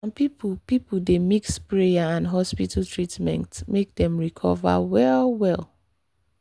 some people people dey mix prayer and hospital treatment make dem recover well-well.